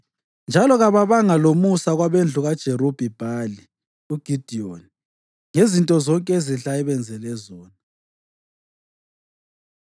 Njalo kababanga lomusa kwabendlu kaJerubhi-Bhali (uGidiyoni) ngezinto zonke ezinhle ayebenzele zona.